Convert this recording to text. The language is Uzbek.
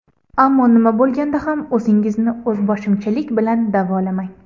Ammo nima bo‘lganda ham, o‘zingizni o‘zboshimchalik bilan davolamang.